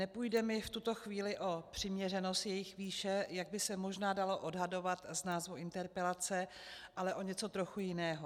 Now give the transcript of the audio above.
Nepůjde mi v tuto chvíli o přiměřenost jejich výše, jak by se možná dalo odhadovat z názvu interpelace, ale o něco trochu jiného.